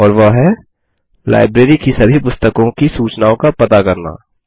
और वह है लाइब्रेरी की सभी पुस्तकों की सूचनाओं का पता करना